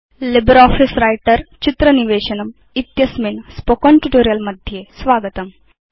LibreOffice Writer चित्र निवेशनम् इत्यस्मिन् मौखिकपाठे स्वागतम्